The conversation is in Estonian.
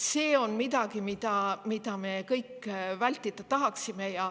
See on midagi, mida me kõik vältida tahame.